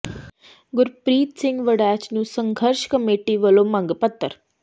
ਗੁਰਪ੍ਰੀਤ ਸਿੰਘ ਵੜੈਚ ਨੂੰ ਸੰਘਰਸ਼ ਕਮੇਟੀ ਵੱਲੋਂ ਮੰਗ ਪੱਤਰ